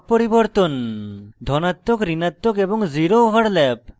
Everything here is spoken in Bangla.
ধনাত্মক ঋণাত্মক এবং zero overlap